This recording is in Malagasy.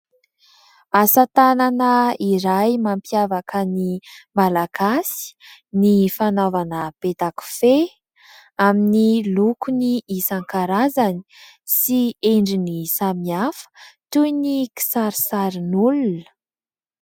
Asa-tànana iray mampiavaka ny malagasy ny fanaovana peta-kofehy amin'ny lokony isan-karazany sy endriny samy hafa toy ny kisarisarin'olona.